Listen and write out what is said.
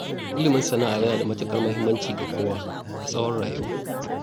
Ilimin sana'a yana da matuƙar muhimmanci ga kowa, a tsawon rayuwa.